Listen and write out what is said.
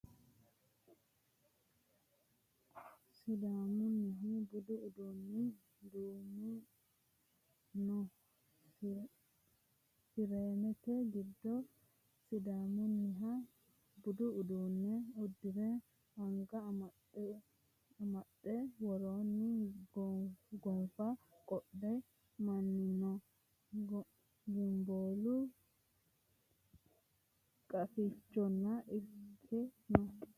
Sidaamunnihu budu uduunni duuname no. Fireemete giddo sidaamunniha budu uduunne uddire, anga amaxxo amaxxe worronni gonfa qodhino manni no. Gimboolu Qafichonna irkire no.